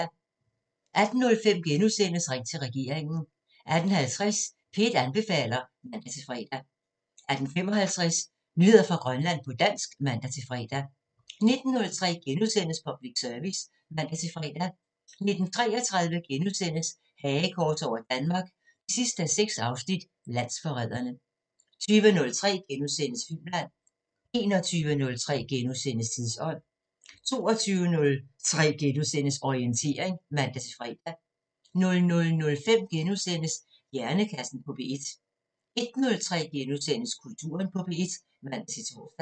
18:05: Ring til regeringen * 18:50: P1 anbefaler (man-fre) 18:55: Nyheder fra Grønland på dansk (man-fre) 19:03: Public Service *(man-fre) 19:33: Hagekors over Danmark 6:6 – Landsforrædere * 20:03: Filmland * 21:03: Tidsånd * 22:03: Orientering *(man-fre) 00:05: Hjernekassen på P1 * 01:03: Kulturen på P1 *(man-tor)